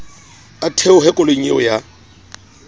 a theohe koloing eo ya